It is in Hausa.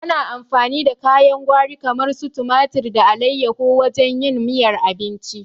Ana amfani da kayan gwari kamar su tumari da alaiyahu wajen yin miyar abinci